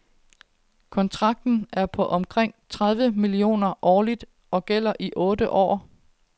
Kontrakten er på omkring tredive millioner kroner årligt og gælder i otte år.